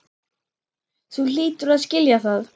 Þú hlýtur að skilja það.